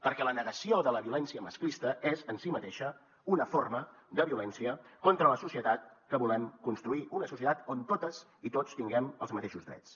perquè la negació de la violència masclista és en si mateixa una forma de violència contra la societat que volem construir una societat on totes i tots tinguem els mateixos drets